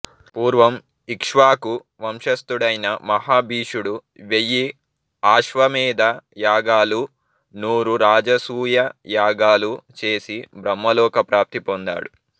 పూర్వం ఇక్ష్వాకు వంశస్థుడైన మహాభీషుడు వెయ్యి ఆశ్వమేధ యాగాలూ నూరు రాజసూయ యాగాలూ చేసి బ్రహ్మలోక ప్రాప్తి పొందాడు